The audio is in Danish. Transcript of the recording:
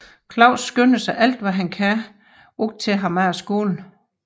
Claus skynder sig alt hvad han kan ud til ham efter skole